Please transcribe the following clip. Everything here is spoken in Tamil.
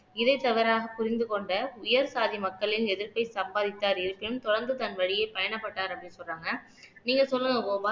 இதை தவறாக புரிந்து கொண்ட உயர் சாதி மக்களின் எதிர்ப்பை சம்பாதித்தார் இருப்பின் தொடர்ந்து தன் வழியே பயணப்பட்டார் அப்படீன்னு சொல்றாங்க நீங்க சொல்லுங்க கோபால்